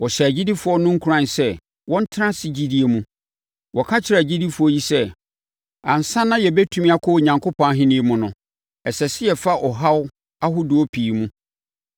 Wɔhyɛɛ agyidifoɔ no nkuran sɛ wɔntena ase gyidie mu. Wɔka kyerɛɛ agyidifoɔ yi sɛ, “Ansa na yɛbɛtumi akɔ Onyankopɔn Ahennie mu no, ɛsɛ sɛ yɛfa ɔhaw ahodoɔ pii mu.”